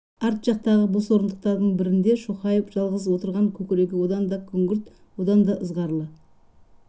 арт жақтағы бос орындықтардың бірінде шоқайып жалғыз отырған көкірегі одан да күңгірт одан да ызғарлы